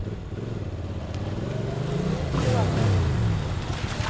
евгению филатову